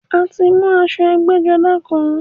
A ti mú aṣọ ẹgbẹ́-jọdá kan.